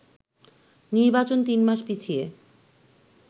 নির্বাচন তিন মাস পিছিয়ে